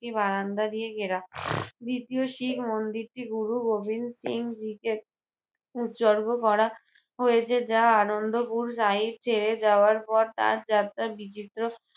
একটি বারান্দা দিয়ে ঘেরা দ্বিতীয় শিক মন্দিরটি গুরু গোবিন্দ সিংজীকে উৎসর্গ করা হয়েছে যা আনন্দপুর ছেড়ে যাওয়ার পর তার যাত্রার বিচিত্র